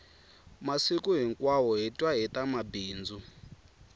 masiku hinkwawo hi twa hita mabindzu